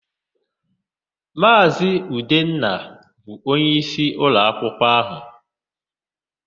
Maazị Udenna bụ onyeisi ụlọakwụkwọ áhụ̀.